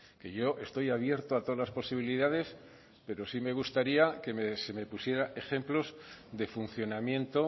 que yo estoy abierto a todas las posibilidades pero sí me gustaría que se me pusiera ejemplos de funcionamiento